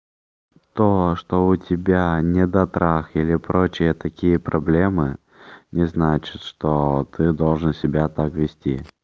то что у тебя недотрах или прочие такие проблемы не значит что ты должен себя так вести